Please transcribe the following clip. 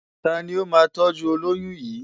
Ta ni ó máa tọ́jú olóyún yìí?